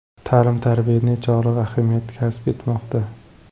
Ta’lim-tarbiya nechog‘lik ahamiyat kasb etmoqda?